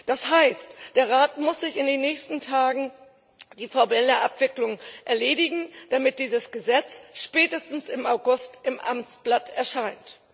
Das heißt, der Rat muss in den nächsten Tagen die formelle Abwicklung erledigen, damit dieses Gesetz spätestens im August im Amtsblatt erscheint.